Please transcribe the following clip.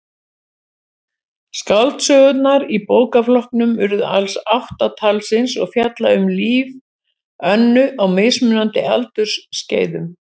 Skáldsögurnar í bókaflokknum urðu alls átta talsins og fjalla um líf Önnu á mismunandi aldursskeiðum.